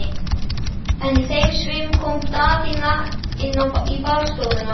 En í þeim svifum kom Daðína inn í baðstofuna.